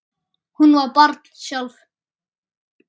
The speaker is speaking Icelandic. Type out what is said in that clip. Hún var barn sjálf.